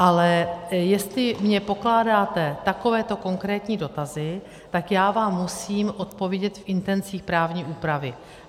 Ale jestli mi pokládáte takovéto konkrétní dotazy, tak já vám musím odpovědět v intencích právní úpravy.